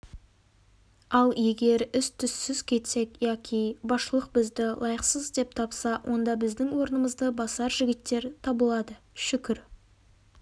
ал егер із-түзсіз кетсек яки басшылық бізді лайықсыз деп тапса онда біздің орнымызды басар жігіттер табылады шүкір